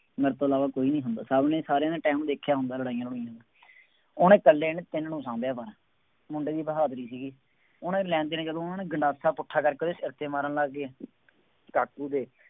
ਮੇਰੇ ਤੋਂ ਇਲਾਵਾ ਕੋਈ ਨਹੀਂ ਹੁੰਦਾ, ਸਭ ਨੇ ਸਾਰਿਆਂ ਨੇ time ਦੇਖਿਆ ਹੁੰਦਾ ਲੜਾਈਆਂ, ਲੜੂਈਆਂ, ਉਹਨੇ ਇਕੱਲੇ ਨੇ ਤਿੰਨ ਨੂੰ ਸਾਂਭਿਆ ਬਸ, ਮੁੰਡੇ ਦੀ ਬਹਾਦਰੀ ਸੀਗੀ, ਉਹਨੇ ਲੈਂਦੇ ਨੇ ਜਦੋਂ ਉਹਨੇ ਗੰਡਾਸਾ ਪੁੱਠਾ ਕਰਕੇ ਉਹਦੇ ਸਿਰ ਤੇ ਮਾਰਨ ਲੱਗ ਗਏ, ਕਾਕੂ ਦੇ